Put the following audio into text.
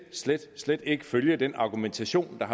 slet slet ikke følge den argumentation der